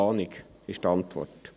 «Keine Ahnung», lautet die Antwort.